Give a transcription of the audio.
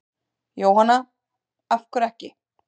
Jóhanna: Af hverju ekki?